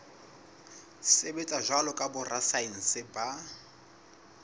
sebetsa jwalo ka borasaense ba